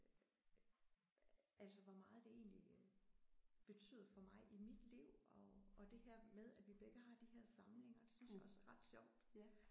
Altså hvor meget det egentlig betyder for mig i mit liv og og det her med at vi begge har de her samlinger det synes jeg også er ret sjovt